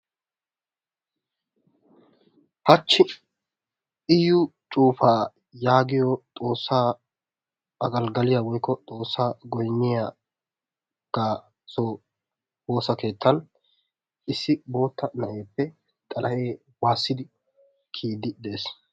Hachchi iyucufa yaagiyo xoossa agalgaliya woykko xoossa goyniyaga so woossa keettan issi bootta na'eepe xalahe waasidi kiyidi de'ees.